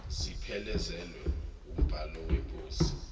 ziphelezelwe wumbhalo weposi